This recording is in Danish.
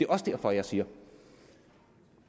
også derfor jeg siger at